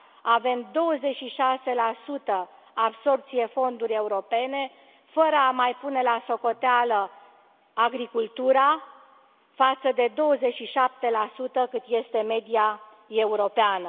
Avem 26 absorbție fonduri europene, fără a mai pune la socoteală agricultura, față de 27 cât este media europeană.